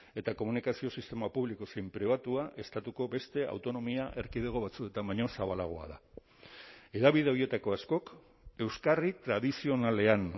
eta komunikazio sistema publiko zein pribatua estatuko beste autonomia erkidego batzuetan baino zabalagoa da hedabide horietako askok euskarri tradizionalean